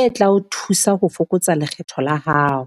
e tla o thusa ho fokotsa lekgetho la hao.